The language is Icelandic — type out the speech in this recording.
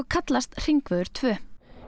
kallast hringvegur tvö